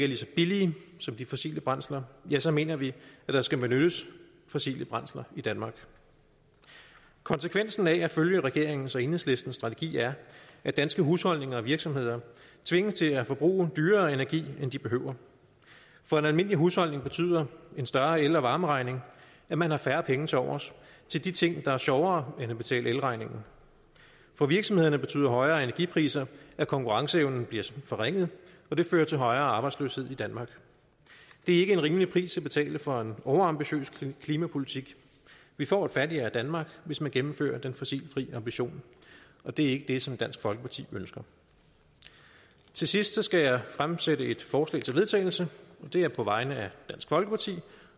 lige så billige som de fossile brændsler ja så mener vi at der skal benyttes fossile brændsler i danmark konsekvensen af at følge regeringens og enhedslistens strategi er at danske husholdninger og virksomheder tvinges til at forbruge dyrere energi end de behøver for en almindelig husholdning betyder en større el og varmeregning at man har færre penge tilovers til de ting der er sjovere end at betale elregningen for virksomhederne betyder højere energipriser at konkurrenceevnen bliver forringet og det fører til højere arbejdsløshed i danmark det er ikke en rimelig pris at betale for en overambitiøs klimapolitik vi får et fattigere danmark hvis man gennemfører den fossilfri ambition og det er ikke det som dansk folkeparti ønsker til sidst skal jeg fremsætte et forslag til vedtagelse og det er på vegne af dansk folkeparti